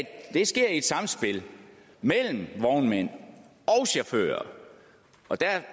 et samspil mellem vognmænd og chauffører og der